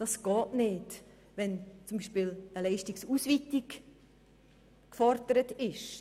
Das geht nicht, wenn zum Beispiel eine Leistungsausweitung gefordert ist.